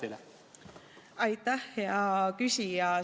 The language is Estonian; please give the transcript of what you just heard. Aitäh, hea küsija!